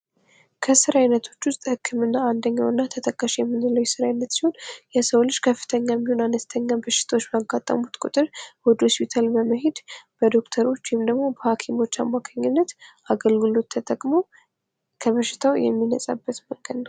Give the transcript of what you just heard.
ከስራ አይነቶች ዉስጥ ህክምና አንደኛው እና ተጠቃሽ የምንለው የስራ አይነት ሲሆን የሰው ልጅ ከፍተኛም ይሁን አነስተኛ በሽታዎች ባጋጠሙት ቁጥር ወደ ሆስፒታል በመሄድ በዶክተሮች ወይንም በሃኪሞች አማካኝነት አገልግሎት ተጠቅሞ ከበሽታው የሚነጻበት ቀን ነው።